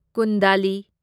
ꯀꯨꯟꯗꯥꯂꯤ